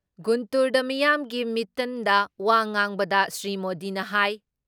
ꯒꯨꯟꯇꯨꯔꯗ ꯃꯤꯌꯥꯝꯒꯤ ꯃꯤꯇꯟꯗ ꯋꯥ ꯉꯥꯡꯕꯗ ꯁ꯭ꯔꯤ ꯃꯣꯗꯤꯅ ꯍꯥꯏ